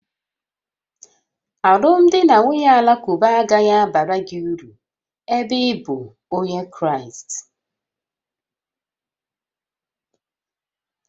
Alụmdi na nwunye Alakụba agaghị abara gị uru ebe ị bụ Onye Kraịst